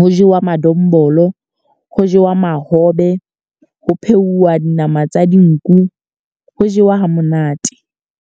ho jewa madombolo, ho jewa mahobe, ho pheuwa dinama tsa dinku. Ho jewa ha monate.